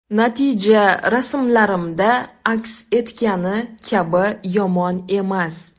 Natija rasmlarimda aks etgani kabi yomon emas.